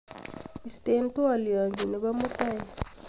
isten twolyonyun nebo mutai